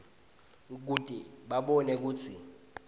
kute babone kutsi